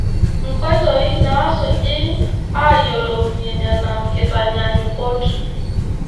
Nkoitoi naasuji aayiolounyie Nena kitaanyanyukot.